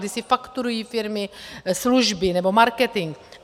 Kdy si fakturují firmy služby nebo marketing.